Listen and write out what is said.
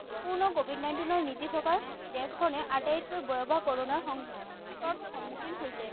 পূৰ্ণ COVID nineteen ৰ নীতি থকা দেশখনে আটাইতকৈ ভয়াবহ কৰনা সংকটৰ সম্মুখীন হৈছে।